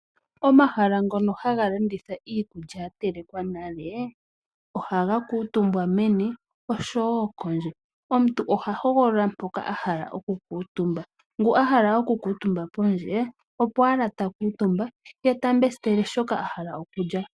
Omahala ngono haga landitha iikulya ya telekwa nale, ohaga kuutumbwa meni osho woo kondje. Omuntu oha hogolola mpoka ahala oku kuutumba. Ngu ahala oku kuutumba pondje opo owala ta kuutumba ye ta pula shoka ahala okulya.